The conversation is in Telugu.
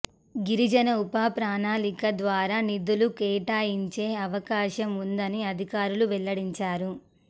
గిరిజన ఉప ప్రణాళిక ద్వారా నిధులు కేటా యించి అవకాశం ఉందని అధికారులు వెల్లడించారు